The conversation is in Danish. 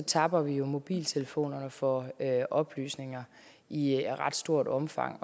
tapper vi jo mobiltelefonerne for oplysninger i ret stort omfang